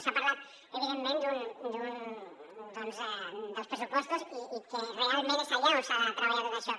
s’ha parlat evidentment doncs dels pressupostos i que realment és allà on s’ha de treballar tot això